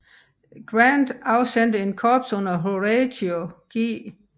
Grant afsendte et korps under Horatio G